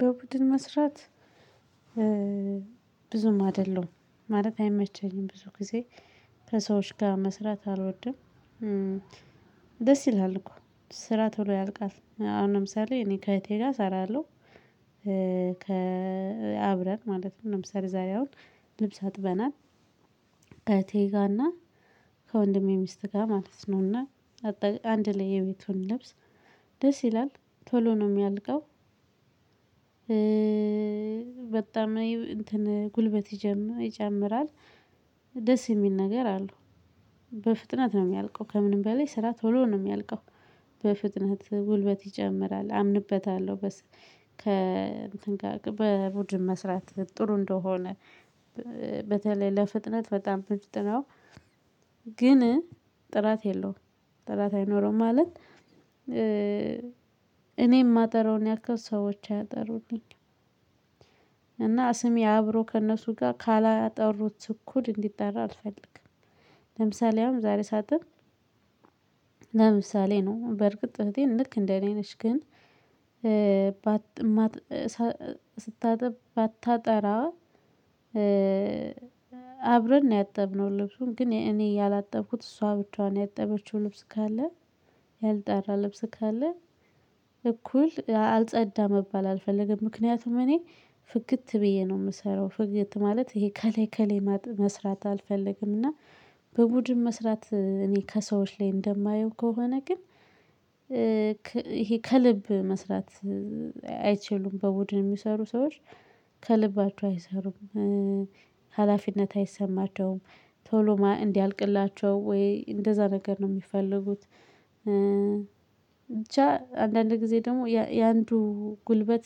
በቡድን መስራት ብዙም አይደለም ማለት አይመቸኝም ብዙ ጊዜ ከሰዎች ጋር መስራት አልወድም። ደስ ይላል እኮ ስራ ቶሎ ያልቃል አሁን ለምሳሌ እኔ ከእህቴ ጋር እሰራለሁ። አብረን ማለት ነው ለምሳሌ ዛሬ አሁን ልብስ አጥበናል። ከእህቴ ጋር እና ከወንድሜ ሚስት ጋር ማለት ነውና አንድ ላይ የቤቱን ልብስ ደስ ይላል ቶሎ ነው የሚያልቀው። በጣም እንትን ጉልበት ይጨምራል ደስ የሚል ነገር አለው። በፍጥነት ነው የሚያልቀው ከምንም በላይ ስራ ቶሎ ነው የሚያልቀው በፍጥነት ጉልበት ይጨምራል አምንበታለሁ። ከ እንትን ጋር በቡድን መስራት ጥሩ እንደሆነ በተለይ ለፍጥነት በጣም ምርጥነው። ግን ጥራት የለውም ጥራት አይኖረውም ማለት እኔ የማጠራውን ያክል ሰዎች አያጠሩልኝም። እና ስሜ አብሮ ከእነሱ ጋር ካላጠሩት እኩል እንዲጠራ አልፈልግም። ለምሳሌ አሁን ዛሬ ሳጥብ። ለምሳሌ ነው በርግጥ እህቴም ልክ እንደ እኔ ነች ግን። ባታጠራ አብረን ነው ያጠብነው ልብሱን ግን እኔ ያላጠብኩት እሷ ብቻዋን ያጠበችው ልብስ ካለ ያልጠራ ልብስ ካለ እኩል አልጸዳ መባል አልፈለገም ምክንያቱም እኔ ፍግት ብዬ ነው የምሰራው ፍግት ማለት ይሄ ከላይከሌ መስራት አልፈለግም። እና በቡድን መስራት እኔ ከሰዎች ላይ እንደማየው ከሆነ ግን ይሄ ከልብ መስራት አይችሉም በቡድን የሚሰሩ ሰዎች ከልባችው አይሰሩም። ሀላፊነት አይሰማቸውም ቶሎ እንዲያልቅላቸው ወይ እንደዛ ነገር ነው የሚፈልጉት ብቻ አንዳንድ ጊዜ ደግሞ የአንዱ ጉልበት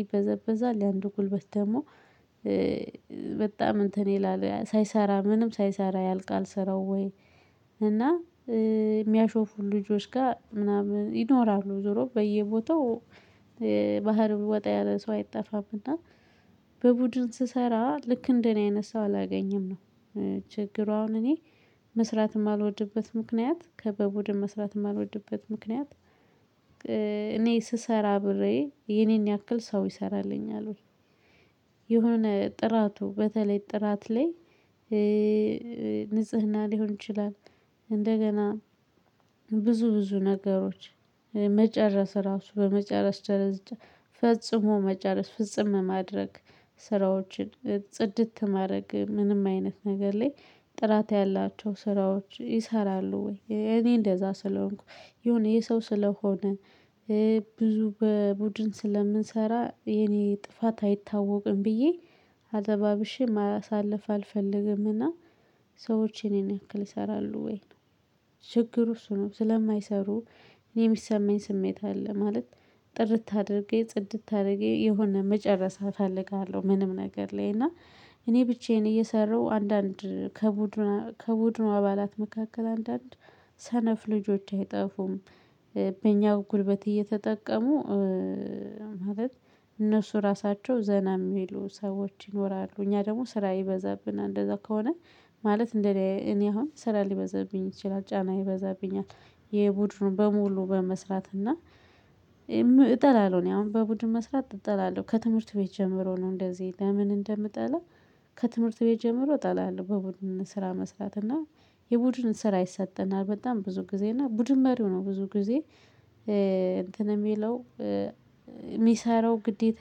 ይበዘበዛል። የአንዱ ጉልበት ደግሞ በጣም እንትን ይላል ሳይሰራ ምንም ሳይሰራ ያልቃል። ስራው ወይ እና የሚያሾፉ ልጆች ጋር ምናምን ይኖራሉ ዞሮ በየቦታው ባህሪው ወጣ ያለ ሰው አይጠፋም። እና በቡድን ስሰራ ልክ እንደኔ አይነት ሰው አላገኝም ነው። ችግሩ አሁን እኔ መስራት የማልወድበት ምክንያት ከበቡድን መስራት የማልወድበት ምክንያት። እኔ ስሰራ አብሬ የኔን ያክል ሰው ይሰራልኛል ወይ? የሆነ ጥራቱ በተለይ ጥራት ላይ ንጽህና ሊሆን ይችላል። እንደገና ብዙ ብዙ ነገሮች መጨረስ ራሱ በመጨረስ ደረጃ ፈጽሞ መጨረስ ፍጽም ማድረግ ስራዎችን ጽድት ማድረግ ምንም አይነት ነገር ላይ ጥራት ያላቸው ስራዎች ይሰራሉ ወይ እኔ እንደዛ ስለሆንኩ የሆነ የሰው ስለሆነ። ብዙ በቡድን ስለምንሰራ የኔ ጥፋት አይታወቅም ብዬ አለባብሼ ማሳለፍ አልፈልግምና። ሰዎች የኔን ያክል ይሰራሉ ወይ? ችግሩ እሱ ነው ስለማይሰሩ እኔ የሚሰማኝ ስሜት አለ ማለት ጥርት አድርጌ ጽድት አድርጌ የሆነ መጨረስ አፈልጋለሁ። ምንም ነገር ላይ እና እኔ ብቻዬን እየሰራሁ አንዳንድ ከቡድኑ ከቡድኑ አባላት መካከል አንዳንድ ሰነፍ ልጆች አይጠፉም። በእኛ ጉልበት እየተጠቀሙ ማለት እነሱ ራሳቸው ዘና የሚሉ ሰዎች ይኖራሉ። እኛ ደግሞ ስራ ይበዛብናል እንደዛ ከሆነ ማለት እንደ እኔ አሁን ስራ ሊበዛብኝ ይችላል ጫና ይበዛብኛል። የቡድኑን በሙሉ በመስራት እና እጠላለሁ እኔ አሁን በቡድን መስራት እጠላለሁ። ከትምህርት ቤት ጀምሮ ነው እንደዚህ ለምን እንደምጠላ? ከትምህርት ቤት ጀምሮ እጠላለሁ። በቡድን ስራ መስራት እና የቡድን ስራ ይሰጠናል በጣም ብዙ ጊዜ እና ቡድን መሪው ነው ብዙ ጊዜ እንትን የሚለው። የሚሰራው ግዴታ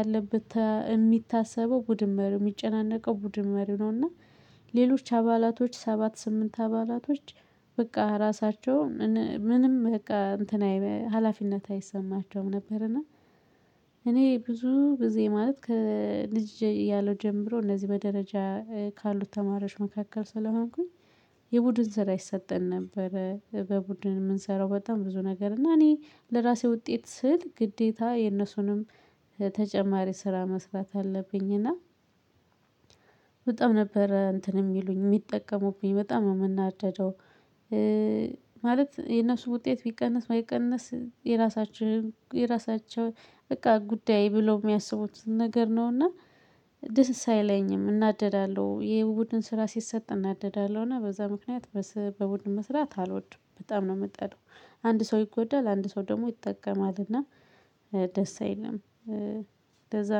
ያለበት የሚታሰበው ቡድን መሪ የሚጨናነቀው ቡድን መሪ ነው። እና ሌሎች አባላቶች ሰባት ስምንት አባላቶች በቃ ራሳቸው ምንም በቃ እንትና ሀላፊነት አይሰማቸውም ነበር። እና እኔ ብዙ ጊዜእ ማለት ከልጅ ያለው ጀምሮ እነዚህ በደረጃ ካሉት ተማሪዎች መካከል ስለሆንኩኝ የቡድን ስራ ይሰጠን ነበር። በቡድን የምንሰራው በጣም ብዙ ነገር እና እኔ ለራሴ ውጤት ስል ግዴታ የነሱንም ተጨማሪ ስራ መስራት አለብኝና። በጣም ነበር እንትን የሚሉኝ የሚጠቀሙብኝ በጣም የምናደደው። ማለት የነሱ ውጤት ቢቀንስ ባይቀንስ የራሳችን የራሳቸው በቃ ጉዳይ ብለው የሚያስቡት ነገር ነው። እና ደስ አይለኝም እናደዳለሁ ይሄ ቡድን ስራ ሲሰጥ እናደዳለሁ እና በዛ ምክንያት በቡድን መስራት አልወድም በጣም ነው የምጠላው። አንድ ሰው ይጎዳል አንድ ሰው ደግሞ ይጠቀማልና ደስ አይልም። ለዛ ነው